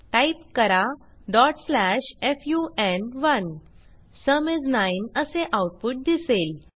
type करा fun1 sum is 9 असे output दिसेल